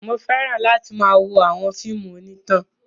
Mo fẹ́ràn láti máa wo àwọn fíìmù onítàn.